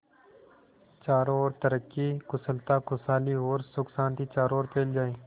चारों और तरक्की कुशलता खुशहाली और सुख शांति चारों ओर फैल जाए